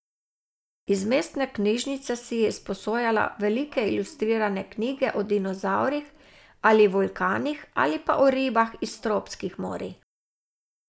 Iz mestne knjižnice si je izposojala velike ilustrirane knjige o dinozavrih ali vulkanih ali pa o ribah iz tropskih morij.